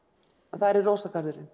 þar er